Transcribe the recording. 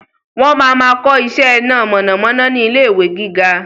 Wọn máa ma kọ iṣẹ́ iná mọ̀nàmọ́ná ni ilé ìwé gíga